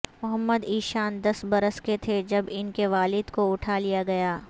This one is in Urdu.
محمد ایشان دس برس کے تھے جب ان کے والد کو اٹھا لیا گیا